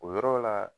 O yɔrɔ la